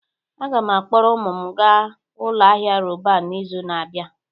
Aga m akpọrọ ụmụ m gaa ụlọ ahịa Roban n'izu na-abịa